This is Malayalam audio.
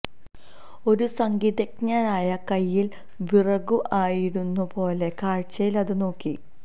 ഒരു സംഗീതജ്ഞനായ കയ്യിൽ വിറകു ആയിരുന്നു പോലെ കാഴ്ചയിൽ അത് നോക്കി